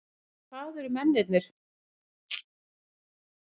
Hvað, hvar eru peningarnir þar sem að áttu að vera í það?